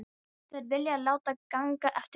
Þær vilja láta ganga eftir sér.